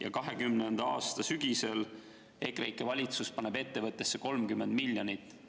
Aga 2020. aasta sügisel EKREIKE valitsus pani ettevõttesse 30 miljonit.